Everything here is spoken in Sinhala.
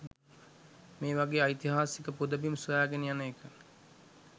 මේ වගේ ඓතිහාසික පුදබිම් සොයාගෙන යන එක.